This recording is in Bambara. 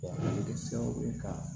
a bɛ kɛ sababu ye ka